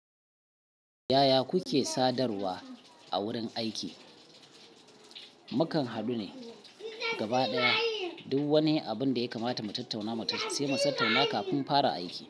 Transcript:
Yaya kuke sadarwa a wurin aiki? Mukan haɗu ne gaba ɗaya duk wani abin da ya kamata mu tattauna, sai mu tattauna kafin fara aiki.